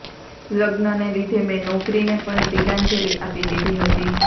લગ્નને લીધે મેં નોકરીને પણ તિલાંજલિ આપી દીધી હતી